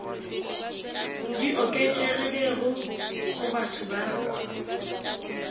di oketšegilego go batho ba